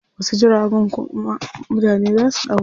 Wasu jiragun kuma mutane zaa su ɗauka.